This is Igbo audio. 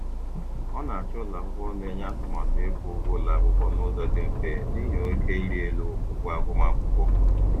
Ọ na-achọ ụlọakwụkwọ na-enye atụmatụ ịkwụ ụgwọ akwụkwọ n'ụzọ dị mfe n'ihi oke iri elu ụgwọ agụmakwụkwọ.